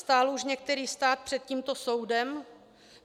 Stál už některý stát před tímto soudem?